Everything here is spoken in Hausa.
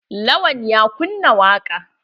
Lawan ya kunna waƙa.